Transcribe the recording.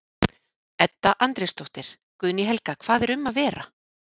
Edda Andrésdóttir: Guðný Helga hvað er um að vera?